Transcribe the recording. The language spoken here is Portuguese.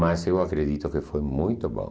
Mas eu acredito que foi muito bom.